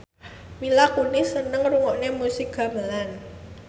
Mila Kunis seneng ngrungokne musik gamelan